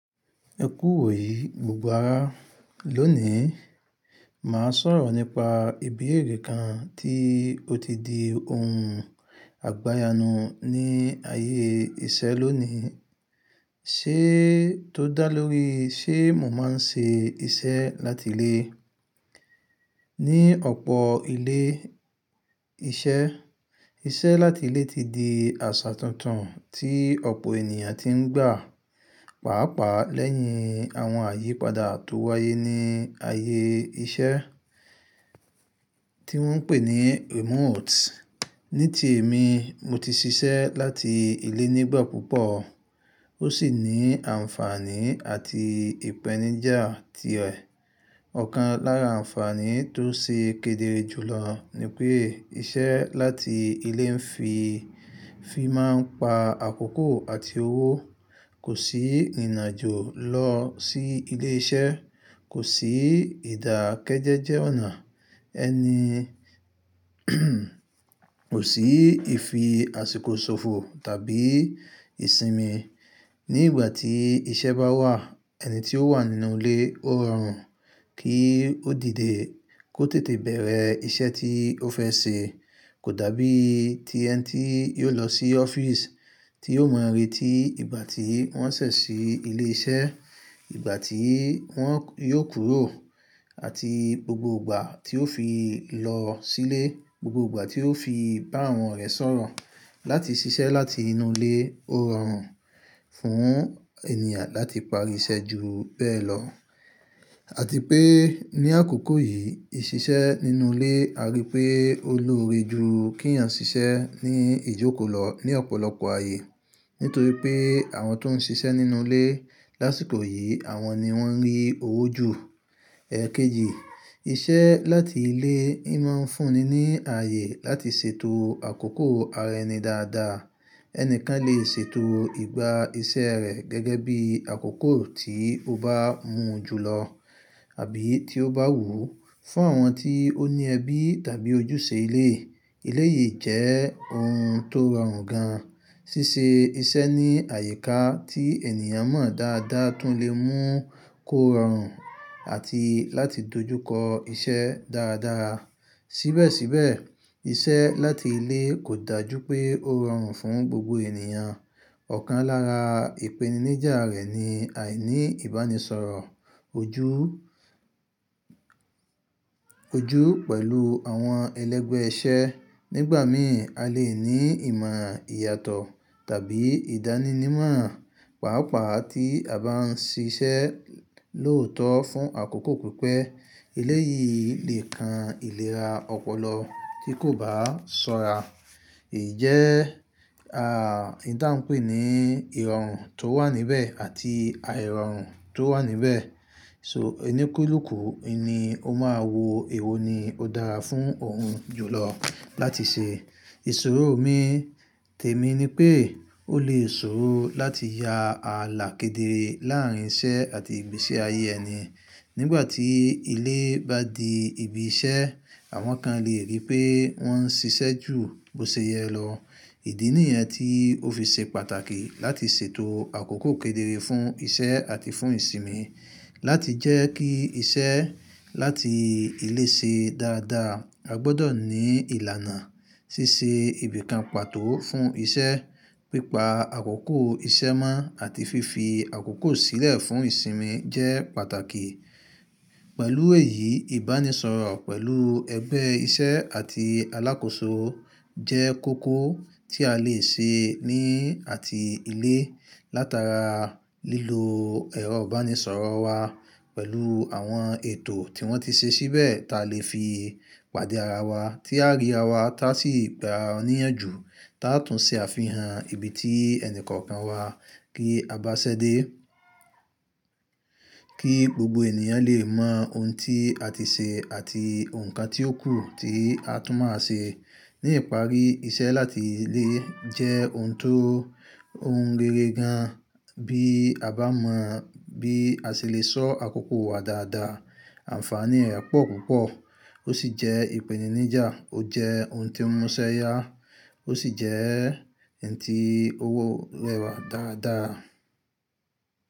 Ẹ kú wò èyí, gbogbo ara lónìí. Màá sọ̀rọ̀ nípa ìbí èrí kan tí ó ti di ohun àgbáyanu ní ayé iṣẹ́ lónìí. Ṣé tó dá lórí, ṣé mo máa ń ṣe iṣẹ́ láti ilé. Ní ọ̀pọ̀ ilé iṣẹ́, iṣẹ́ láti ilé ti di àṣà tuntun tí ọ̀pọ̀ ènìyàn ti ń gbà. Pàápàá lẹ́yìn àwọn àyípadà tó wáyé ní ayé iṣẹ́ tí wọ́n ń pè ní remote. Ní ti èmi, mo ti ṣiṣẹ́ láti ilé nígbà púpọ̀. Ó sì ní àǹfààní àti ìpèníjà tirẹ̀. Ọ̀kan lára àǹfààní tó ṣe kedere jùlọ ni pé iṣẹ́ láti ilé ń fi máa ń pa àkókò àti owó. Kò sí ìrìnàjò lọ sí ilé iṣẹ́. Kò sí ìdákẹ́jẹ́jẹ́ ọ̀nà. Ẹni kò sí ìfi àsìkò ṣòfò tàbí ìsinmi. Ní ìgbà tí iṣẹ́ bá wà, ẹni tí ó wà nínú ilé ó rọrùn kí ó dìde kó tètè bẹ̀rẹ̀ iṣẹ́ tí ó fẹ́ ṣe. Kò dàbí ti ẹni tí yóò lọ sí ọ́fíìsì tí yóò mọ ìrí ti ìgbà tí wọ́n ṣẹ̀ sí ilé iṣẹ́, ìgbà tí wọ́n yóò kúrò àti gbogbo ìgbà tí ó fi lọ sílé, gbogbo ìgbà tí ó fi bá àwọn ọ̀rẹ́ sọ̀rọ̀. Láti ṣiṣẹ́ láti inú ilé ó rọrùn fún ènìyàn láti parí iṣẹ́ ju bẹ́ẹ̀ lọ. Àti pé ní àkókò yìí, ìṣiṣẹ́ nínú ilé a rí pé ó ni ore jù kí ènìyàn ṣiṣẹ́ ní ìjókòó lọ ní ọ̀pọ̀lọpọ̀ ayé. Nítorí pé àwọn tó ń ṣiṣẹ́ nínú ilé lásìkò yìí àwọn ni wọ́n rí owó jù. Ẹ̀ẹ̀kejì, iṣẹ́ láti ilé ń máa ń fúnni ní ayé láti ṣètò àkókò ara ẹni dáadáa. Ẹnìkan lè ṣètò ìgbà iṣẹ́ rẹ̀ gẹ́gẹ́ bí àkókò tí ó bá mú jùlọ àbí tí ó bá wùú. Fún àwọn tí ó ní ẹbí tàbí ojúṣe ilé, ilé yìí jẹ́ ohun tó rọrùn gan. Síse iṣẹ́ ní àyíká tí ènìyàn mọ̀ dáadáa tún lè mú kó rọrùn àti láti dojúkọ iṣẹ́ dáradára. Síbẹ̀síbẹ̀ iṣẹ́ láti ilé kò dàjú pé ó rọrùn fún gbogbo ènìyàn. Ọ̀kan lára ìpèníjà rẹ̀ ni àìní ìbánisọ̀rọ̀ ojú pẹ̀lú àwọn ẹlẹ́gbẹ́ iṣẹ́. Nígbà mìíràn, a lè ní ìmọ̀ ìyàtọ̀ tàbí ìdánínimọ̀. Pàápàá tí a bá ń ṣiṣẹ́ lóòótọ́ fún àkókò pípẹ́, eléyí lè kan ìlera ọpọlọ tí kò bá sọ́ra. Ìjẹ́ à, oun ti á ń pè ní ìrọ̀rùn tó wà níbẹ̀ àti àìrọ̀rùn tó wà níbẹ̀. So onikúlùú, ini ó máa wo èwo ni ó dára fún òun jùlọ láti ṣe. Ìṣòro mi tèmi ni pé ó lè ṣòro láti ya àlà kedere láàárín iṣẹ́ àti ìgbésí ayé ẹni. Nígbà tí ilé bá di ibi iṣẹ́, àwọn kan lè rí pé wọ́n ń ṣiṣẹ́ jù bó ṣe yẹ lọ. Ìdí nìyẹn tí ó fi ṣe pàtàkì láti ṣètò àkókò kedere fún iṣẹ́ àti fún ìsinmi. Láti jẹ́ kí iṣẹ́ láti ilé ṣe dáadáa, a gbọdọ̀ ní ìlànà. Síse ibìkan pàtó fún iṣẹ́, pípa àkókò iṣẹ́ mọ́ àti fífi àkókò sílẹ̀ fún ìsinmi jẹ́ pàtàkì. Pẹ̀lú èyí, ìbánisọ̀rọ̀ pẹ̀lú ẹgbẹ́ iṣẹ́ àti alákòóso jẹ́ kókó tí a lè ṣe ní àti ilé. Látara lílò ẹ̀rọ ìbánisọ̀rọ̀ wa pẹ̀lú àwọn ètò tí wọ́n ti ṣe síbẹ̀, ta lè fi pàdé ara wa, tí a rí ara wa tá sì gba ọ̀níyàn jù, ta tún ṣe àfihàn ibi tí ẹni kọ̀ọ̀kan wa kí a bá ṣẹ́dé. Kí gbogbo ènìyàn lè mọ ohun tí a ti ṣe àti ohun kan tí ó kù tí a tún máa ṣe. Ní ìparí, iṣẹ́ láti ilé jẹ́ ohun tó ohun rere gan. Bí a bá mọ bí a ṣe lè sọ́ àkókò wa dáadáa, àǹfààní rẹ̀ pọ̀ púpọ̀. Ó sì jẹ́ ìpèníjà, ó jẹ́ ohun tí ń mú iṣẹ́ yá, ó sì jẹ́ ǹtí orewà dáadáa.